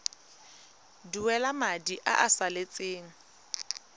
duela madi a a salatseng